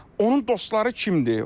Onun dostları kimdir?